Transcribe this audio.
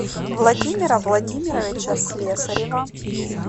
владимира владимировича слесарева